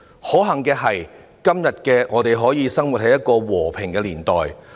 可幸的是，今天我們可以生活在一個和平的年代。